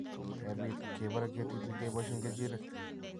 kebiit:- kebare ketiti keboisyen keechiirek.